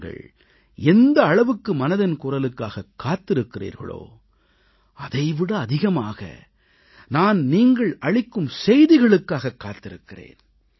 நீங்கள் எந்த அளவுக்கு மனதின் குரலுக்காகக் காத்திருக்கிறீர்களோ அதை விட அதிகமாக நான் நீங்கள் அளிக்கும் செய்திகளுக்காகக் காத்திருக்கிறேன்